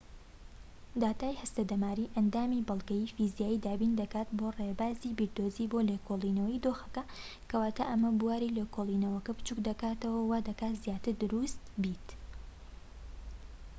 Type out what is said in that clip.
داتای هەستەدەماریی ئەندامی بەڵگەی فیزیایی دابین دەکات بۆ ڕێبازی بیردۆزی بۆ لێکۆڵینەوەی دۆخەکە کەواتە ئەمە بواری لێکۆڵینەوەکە بچوك دەکاتەوە و وا دەکات زیاتر دروست بێت